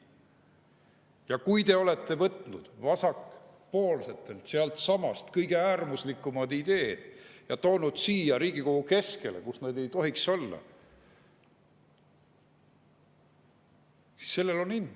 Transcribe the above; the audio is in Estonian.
Ja kui te olete võtnud vasakpoolsetelt sealtsamast kõige äärmuslikumad ideed ja toonud siia Riigikogu keskele, kus nad ei tohiks olla, siis sellel on hind.